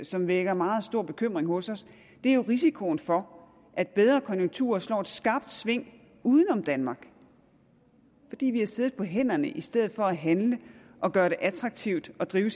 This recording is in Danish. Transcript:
som vækker meget stor bekymring hos os er jo risikoen for at bedre konjunkturer slår et skarpt sving uden om danmark fordi vi har siddet på hænderne i stedet for at handle og gøre det attraktivt at drive